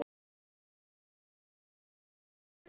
Hvar endar Valur tímabilið?